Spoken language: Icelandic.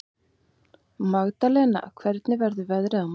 Magdalena, hvernig verður veðrið á morgun?